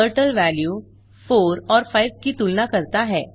turtle value 4 और 5 की तुलना करता है